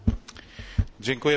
Pani Przewodnicząca!